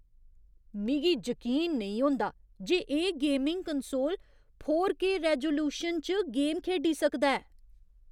मिगी जकीन नेईं होंदा जे एह् gaming console four K resolution च गेम खेढी सकदा ऐ।